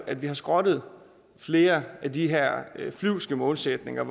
at vi har skrottet flere af de her flyvske målsætninger